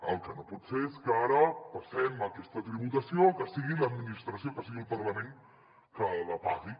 el que no pot ser és que ara passem aquesta tributació a que sigui l’administració que sigui el parlament que la pagui